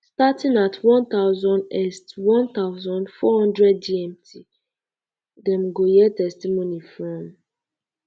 um starting um at one thousand est one thousand, four hundred gmt dem go hear testimony from